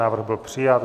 Návrh byl přijat.